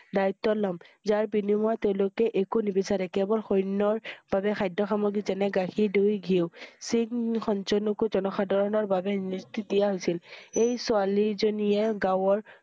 দায়িত্বত লম। যাৰ বিনিময়ত তেওঁলোকে একো নিবিচাৰে কেৱল সৈন্যৰ বাবে খাদ্য সামগ্ৰী যেনে গাখীৰ, দৈ, ঘিওঁ। শিখ~সত জনকো জনসাধাৰণৰ বাবে নেত্ৰী দিয়া হৈছিল। এই ছোৱালী জনিয়ে গাঁৱৰ